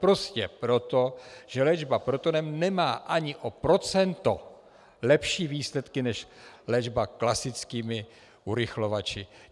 Prostě proto, že léčba protonem nemá ani o procento lepší výsledky než léčba klasickými urychlovači.